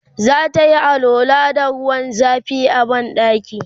zatayi alwala da ruwan zafi a banɗaki